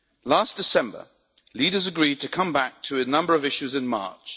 Last December, leaders agreed to come back to a number of issues in March.